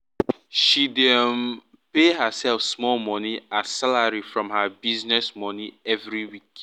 she dey um pay herself small money as salary from her business money every week